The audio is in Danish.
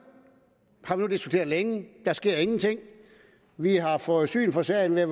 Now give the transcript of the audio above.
længe men der sker ingenting vi har fået syn for sagen ved